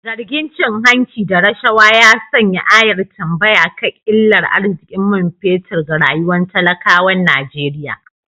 Zargin cin hanci da rashawa ya sanya ayar tambaya kan illar arzikin man fetur ga rayuwar talakawan Najeriya.